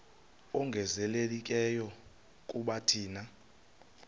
ongezelelekileyo kuba thina